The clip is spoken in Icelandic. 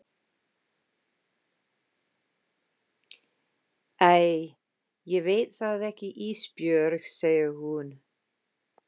Æ ég veit það ekki Ísbjörg, segir hún.